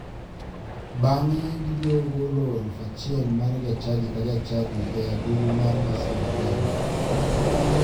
Bang'e gibiro golo 1,000 mar jachadi ka jachadi e agulu mar masira bende.